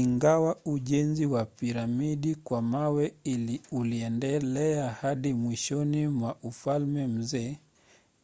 ingawa ujenzi wa piramidi kwa mawe uliendelea hadi mwishoni mwa ufalme mzee